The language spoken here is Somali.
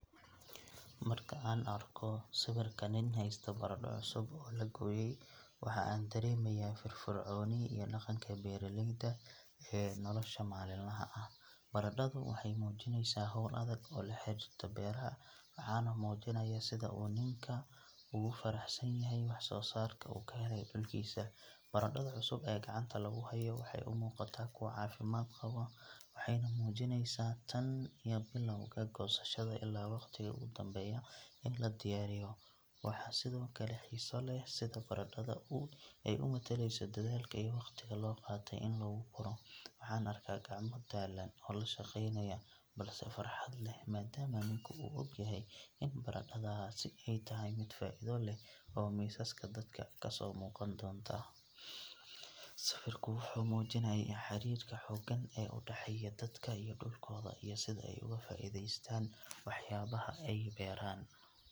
Marka aan arko sawirka nin haysta baradho cusub oo la gooyay, waxa aan dareemayaa firfircooni iyo dhaqanka beeralayda ee nolosha maalinlaha ah. Baradhadu waxay muujinaysaa hawl adag oo la xiriirta beeraha, waxaana muujinaya sida uu ninku ugu faraxsanyahay waxsoosaarka uu ka helay dhulkiisa. Baradhada cusub ee gacanta lagu hayo waxay u muuqataa kuwo caafimaad qaba, waxayna muujinaysaa tan iyo bilawga goosashada ilaa waqtiga ugu dambeeya ee la diyaariyo. Waxaa sidoo kale xiiso leh sida baradhada ay u metelayso dadaalka iyo waqtiga loo qaatay in lagu koro. Waxaan arkaa gacmo daalan oo la shaqeynaya, balse farxad leh, maadaama ninku uu ogyahay in baradhadaasi ay tahay mid faa'iido leh oo miisaska dadka ka soo muuqan doonta. Sawirku wuxuu muujinayaa xiriirka xooggan ee u dhexeeya dadka iyo dhulkooda, iyo sida ay uga faa'iidaystaan waxyaabaha ay beeraan.